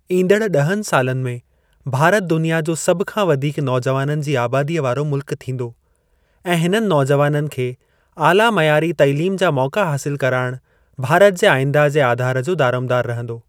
ईंदड़ ॾहनि सालनि में भारत दुनिया जो सभ खां वधीक नौजुवाननि जी आबादीअ वारो मुल्कु थींदो ऐं हिननि नौजुवाननि खे आला मइयारी तालीम जा मौका हासिलु कराइणु भारत जे आईंदह जे आधार जो दारोमदारु रहंदो।